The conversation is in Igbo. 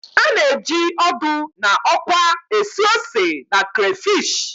A na-eji ọdụ na ọkwa esu ose na crayfish